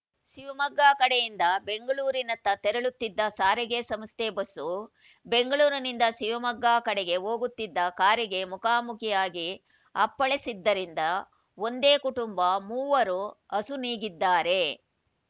ಶಿವಮೊಗ್ಗ ಕಡೆಯಿಂದ ಬೆಂಗಳೂರಿನತ್ತ ತೆರಳುತ್ತಿದ್ದ ಸಾರಿಗೆ ಸಂಸ್ಥೆ ಬಸ್ಸು ಬೆಂಗಳೂರಿನಿಂದ ಶಿವಮೊಗ್ಗ ಕಡೆಗೆ ಹೋಗುತ್ತಿದ್ದ ಕಾರಿಗೆ ಮುಖಾಮುಖಿಯಾಗಿ ಅಪ್ಪಳಿಸಿದ್ದರಿಂದ ಒಂದೇ ಕುಟುಂಬ ಮೂವರು ಅಸುನೀಗಿದ್ದಾರೆ